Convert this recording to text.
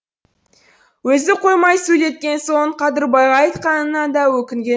өзі қоймай сөйлеткен соң қадырбайға айтқанына да өкінген